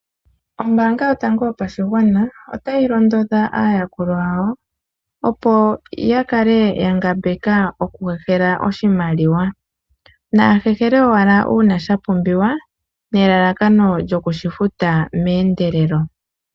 Ombanga yotango yopashigwana otayi londodha aayakulwa yawo opo ya kale yangambeka okuhehela oshimaliwa nahehele owala uuna shapumbiwa nelalakano lyokushifuta meendelelo.